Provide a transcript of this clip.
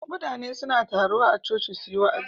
Mutane suna taruwa a choci suji wa'azi